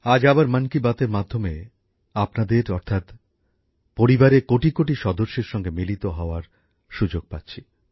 আজ আবার মন কি বাতের মাধ্যমে আপনাদের অর্থাৎ পরিবারের কোটিকোটি সদস্যের সঙ্গে মিলিত হওয়ার সুযোগ পাচ্ছি